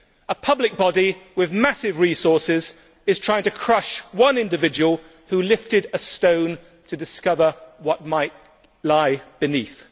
A public body with massive resources is trying to crush one individual who lifted a stone to discover what might lie beneath.